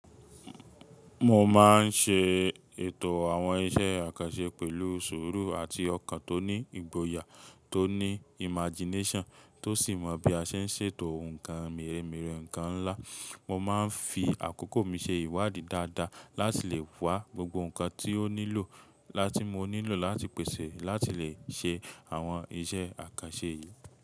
Mo máa ń ṣe ètò àwọn iṣẹ́ àkànṣe pẹ̀lú sùúrù àti ọkàn tó ní ìgboyà tó ní imagination, tó sì mọ̀ bí a ṣe ń ṣètò ǹkan meremere ǹkan ńlá mo máa ń fi àkókò ṣe ìwádìí dáadáa láti lè wá gbogbo ǹkan tí ó nílò la tí mo nílò láti pèsè láti lè ṣe àwọn iṣẹ́ àkànṣe yìí.